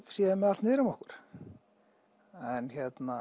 séum með allt niður um okkur en